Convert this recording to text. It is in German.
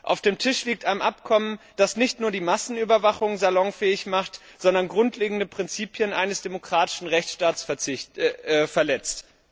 Auf dem Tisch liegt ein Abkommen, das nicht nur die Massenüberwachung salonfähig macht, sondern grundlegende Prinzipien eines demokratischen Rechtsstaates verletzt.